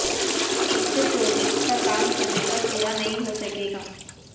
इससे प्रोजेक्ट का काम समय पर पूरा नहीं हो सकेगा